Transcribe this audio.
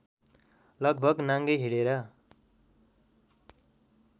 लगभग नाङ्गै हिँडेर